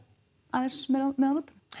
aðeins meira með á nótunum